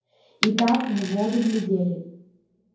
и как в воду глядели